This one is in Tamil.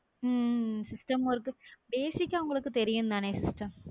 உம் உம் system work உ basic ஆ உங்களுக்கு தெரியும்தானே sister?